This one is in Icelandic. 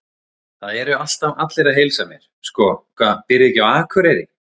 Það eru alltaf allir að heilsa mér, sko, hvað býrðu ekki á Akureyri?